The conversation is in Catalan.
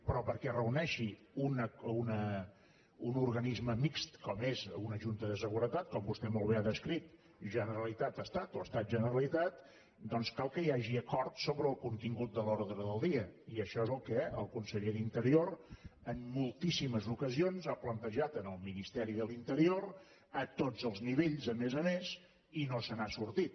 però perquè es reuneixi un organisme mixt com és una junta de seguretat com vostè molt bé ha descrit generalitat estat o estat generalitat doncs cal que hi hagi acord sobre el contingut de l’ordre del dia i això és el que el conseller d’interior en moltíssimes ocasions ha plantejat al ministeri de l’interior a tots els nivells a més a més i no se n’ha sortit